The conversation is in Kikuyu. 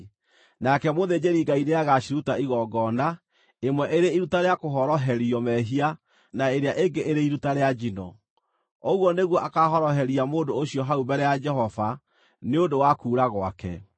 Nake mũthĩnjĩri-Ngai nĩagaciruta igongona, ĩmwe ĩrĩ iruta rĩa kũhoroherio mehia na ĩrĩa ĩngĩ irĩ iruta rĩa njino. Ũguo nĩguo akaahoroheria mũndũ ũcio hau mbere ya Jehova, nĩ ũndũ wa kuura gwake.